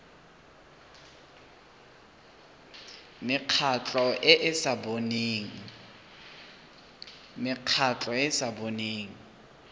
mekgatlho e e sa boneng